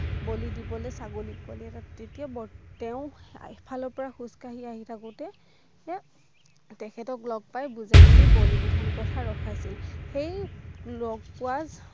বলী দিৱলৈ ছাগলীৰ পোৱালি এটাক তেতিয়া বৰ তেওঁ এক ফালৰ পৰা খোজকাঢ়ি আহি থাকোতে তে তেখেতক লগ পাই বুজাই মেলি বলী বিধান প্ৰথা ৰখাইছিল সেই লগ পোৱাক